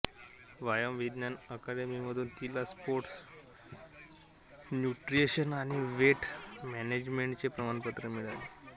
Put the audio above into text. व्यायाम विज्ञान अकादमीकडून तिला स्पोर्ट्स न्यूट्रिशन आणि वेट मॅनेजमेंटचे प्रमाणपत्र मिळाले